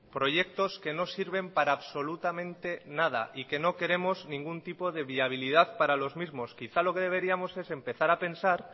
proyectos que no sirven para absolutamente nada y que no queremos ningún tipo de viabilidad para los mismos quizá lo que deberíamos es empezar a pensar